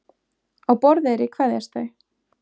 Á Borðeyri kveðjast þau.